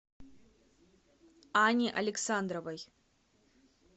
анне александровой